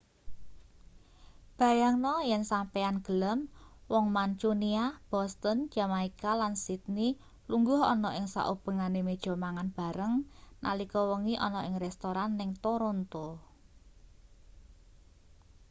bayangno yen sampeyan gelem wong mancunia boston jamaika lan sydney lungguh ana ing saubengane meja mangan bareng nalika wengi ana ing restoran ning toronto